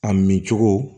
A min cogo